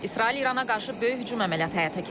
İsrail İrana qarşı böyük hücum əməliyyatı həyata keçirib.